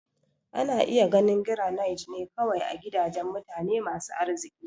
Ana iya ganin Garanait ne kawai a gidajen mutane masu arziki.